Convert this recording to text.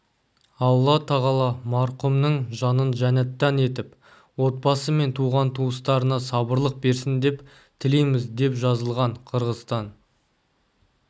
алла тағала марқұмның жанын жәннаттан етіп отбасы мен туған-туыстарына сабырлық берсін деп тілейміз деп жазылған қырғызстан